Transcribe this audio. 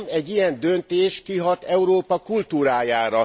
Nem, egy ilyen döntés kihat Európa kultúrájára.